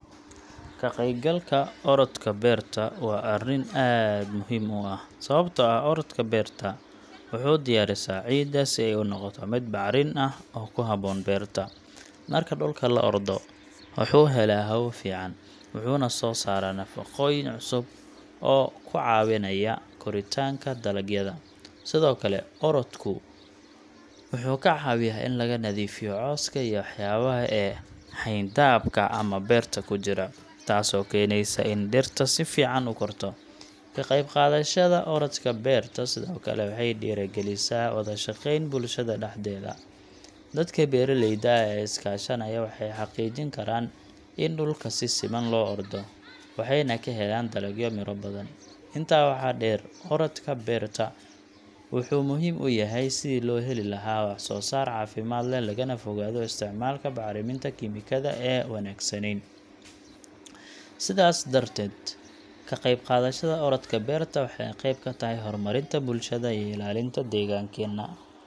Ka qaybgalka orodka beerta waa arrin aad muhiim u ah, sababtoo ah orodka wuxuu diyaarisaa ciidda si ay u noqoto mid bacrin ah oo ku habboon beerta. Marka dhulka la ordo, wuxuu helaa hawo fiican, wuxuuna soo saaraa nafaqooyin cusub oo ku caawinaya koritaanka dalagyada. Sidoo kale, orodku wuxuu ka caawiyaa in laga nadiifiyo cawska iyo waxyaabaha kale ee xayndaabka ama beerta ku jira, taasoo keeneysa in dhirta si fiican u korto. Ka qaybqaadashada orodka beerta sidoo kale waxay dhiirrigelisaa wada shaqeyn bulshada dhexdeeda. Dadka beeraleyda ah ee is kaashanaya waxay xaqiijin karaan in dhulka si siman loo ordo, waxayna ka helaan dalagyo miro badan. Intaa waxaa dheer, orodka beerta wuxuu muhiim u yahay sidii loo heli lahaa wax-soo-saar caafimaad leh, lagana fogaado isticmaalka bacriminta kiimikada ee aan wanaagsaneyn. Sidaas darteed, ka qaybqaadashada orodka beerta waxay qayb ka tahay horumarinta bulshada iyo ilaalinta deegaankeena.